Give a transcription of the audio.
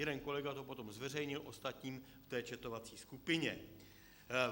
Jeden kolega to potom zveřejnil ostatním v té chatovací skupině.